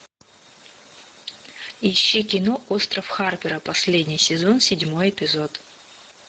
ищи кино остров харпера последний сезон седьмой эпизод